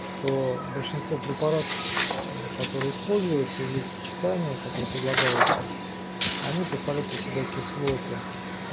что большинство препаратов которые используются или их сочетания которые предлагаются они представляют из себя кислоты